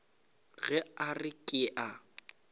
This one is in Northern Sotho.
ge a re ke a